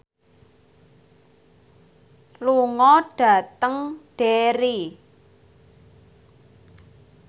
lunga dhateng Derry